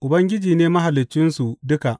Ubangiji ne Mahaliccinsu duka.